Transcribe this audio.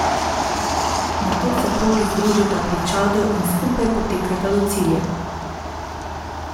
Nato se progi združita pri Čadu in skupaj potekata do cilja.